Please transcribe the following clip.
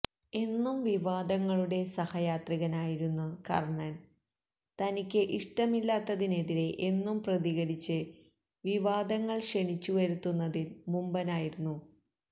എന്നും വിവാദങ്ങളുടെ സഹയാത്രികനായിരുന്നു കര്ണന് തനിക്ക് ഇഷ്ടമില്ലാത്തതിനെതിരെ എന്നും പ്രതികരിച്ച് വിവാദങ്ങള് ക്ഷണിച്ചു വരുത്തുന്നതില് മുമ്പനായിരുന്നു